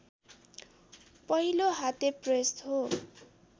पहिलो हातेप्रेस हो